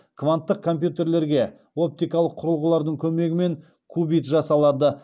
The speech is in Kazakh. кванттық компьютерлерге оптикалық құрылғылардың көмегімен кубит жасалады